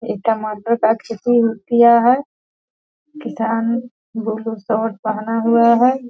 ई टमाटर का खेती उ किया है। किसान ब्लू शर्ट पहना हुआ है।